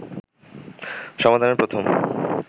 সমাধানের প্রথম